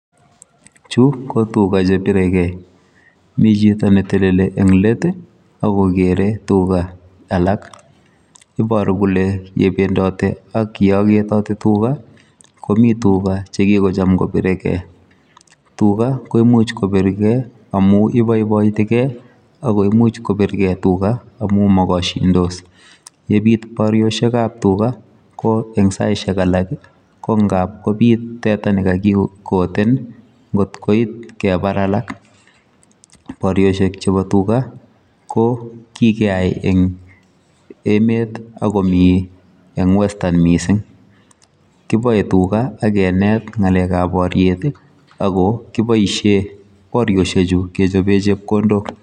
Chuu ko tugaah che biregei Mii chitoo ne telelii en leet ii ak kogerei tugaah alaak ibaruu kole yebendati ak ye agetati komii tugaah chekikochaam kobiregei ,tugaah koimuuch kobiregei amuun ibaibaitigei ago imuuch kobiregei tugal amuun magashindis yebiit barioshek en tugaah komuuch kobiit teta nekakikoteen ii koit kebaar alaak , barioshek chebo tugaah ko kikeyai en emeet ii ak komii eng western yu missing, kiboe tuga ak kineet ngalek ab boriet ak kibaisheen ngalek ab barioshek chuu kechapeen chepkondook.